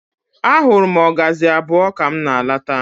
Ahụrụ m ọgazị abụọ ka m na-lọta.